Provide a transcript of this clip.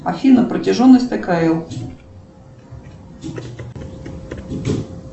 афина протяженность такая